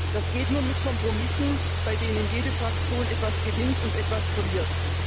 Das geht nur mit Kompromissen, bei denen jede Fraktion etwas gewinnt und etwas verliert.